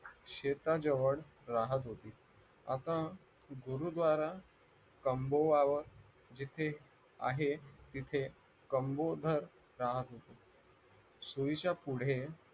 शेताजवळ राहत होती आता गुरुत्वारा कमोवर जिथे आहे तिथे कंबोधर राहत होते सुविच्या पुढे